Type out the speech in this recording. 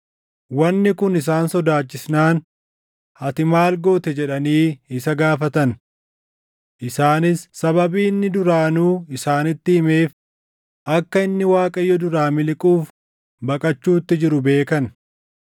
Wanni kun isaan sodaachisnaan, “Ati maal goote?” jedhanii isa gaafatan. Isaanis sababii inni duraanuu isaanitti himeef akka inni Waaqayyo duraa miliquuf baqachuutti jiru beekan.